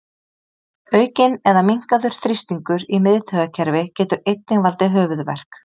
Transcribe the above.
Aukinn eða minnkaður þrýstingur í miðtaugakerfi getur einnig valdið höfuðverk.